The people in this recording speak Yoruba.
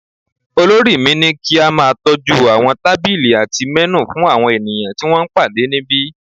Olórí mi ní kí a máa tọ́jú àwọn tábìlì àti menù fún àwọn ènìyàn tí wọ́n ń pàdé níbí